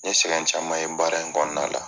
N ɲe sɛgɛn caman ye baara in kɔnɔna la.